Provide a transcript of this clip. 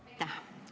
Aitäh!